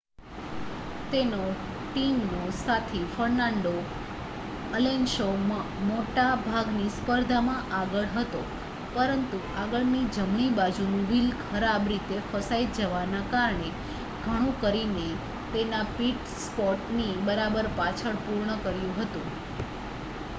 તેનો ટીમનો સાથી ફર્નાન્ડો અલોન્સો મોટા ભાગની સ્પર્ધામાં આગળ હતો પરંતુ આગળનું જમણી બાજુનું વ્હીલ ખરાબ રીતે ફસાઈ જવાના કારણે ઘણું કરીને તેના પીટ સ્ટોપ ની બરાબર પાછળ પૂર્ણ કર્યું હતું